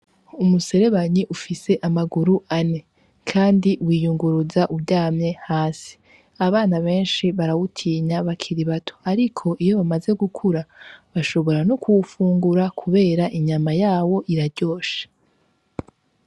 Umuserebanyi ufise amaguru ane Kandi wiyunguruza uryamye hasi abantu bakiri bato barawutinya ariko iyo bamaze gukura bashobora no kuwufungura kubera inyama yarwo iraryoshe.